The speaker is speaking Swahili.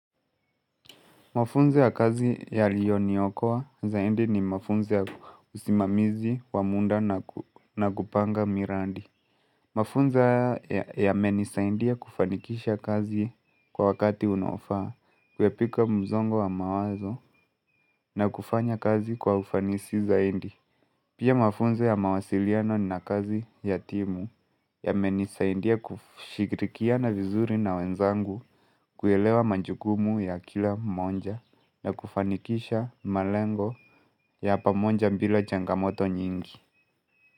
Mafunzo ya kazi yalioniokoa zaidi ni mafunzo ya kusimamizi wa muda na kupanga mirandi. Mafunzo haya yamenisaidia kufanikisha kazi kwa wakati unaofaa, kuepuka mzongo wa mawazo na kufanya kazi kwa ufanisi zaidi. Pia mafunzo ya mawasiliano na kazi ya timu yamenisaidia kushirikiana vizuri na wenzangu kuelewa majukumu ya kila mmoja na kufanikisha malengo ya pamoja bila changamoto nyingi.